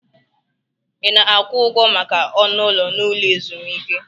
Ị na-akwụ ụgwọ maka ọnụ ụlọ n'ụlọ ezumike?